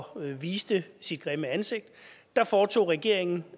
viste sit grimme ansigt foretog regeringen